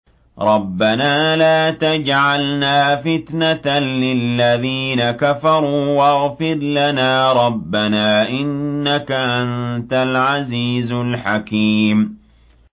رَبَّنَا لَا تَجْعَلْنَا فِتْنَةً لِّلَّذِينَ كَفَرُوا وَاغْفِرْ لَنَا رَبَّنَا ۖ إِنَّكَ أَنتَ الْعَزِيزُ الْحَكِيمُ